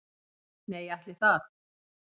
"""Nei, ætli það."""